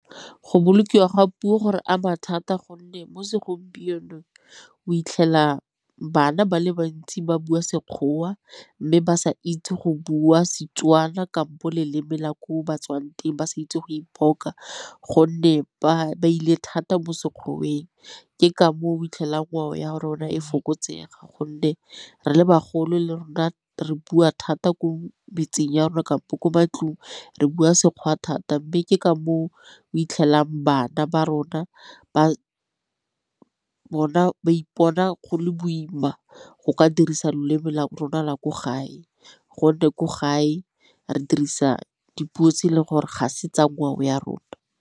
Go bolokiwa ga puo go re ama thata gonne mo segompienong o 'itlhela bana ba le bantsi ba bua Sekgowa mme ba sa itse go bua Setswana kampo leleme la ko ba tswang teng ba sa itse go ipoka gonne ba ile thata mo Sekgoweng. Ke ka moo o 'itlhela ngwao ya rona e fokotsega gonne re le bagolo le rona re bua thata ko metseng ya rona kampo ko matlong re bua Sekgowa thata, mme ke ka moo o iphitlhelang bana ba rona ba bona ba ipona go le boima go ka dirisa leleme la rona la ko gae gonne ko gae re dirisa dipuo tse e leng gore ga se tsa ngwao ya rona.